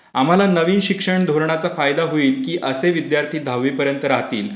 आम्हाला नवीन शिक्षण धोरणाचा फायदा होईल की असे विद्यार्थी दहावीपर्यंत राहतील,